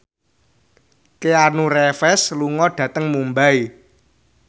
Keanu Reeves lunga dhateng Mumbai